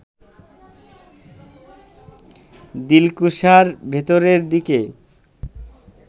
দিলকুশার ভেতরের দিকে